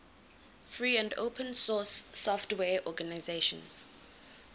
free and open source software organizations